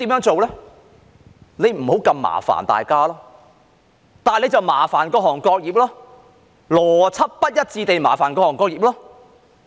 政府不想麻煩大家，那便麻煩各行各業，邏輯不一致地麻煩各行各業。